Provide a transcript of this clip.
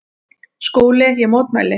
SKÚLI: Ég mótmæli!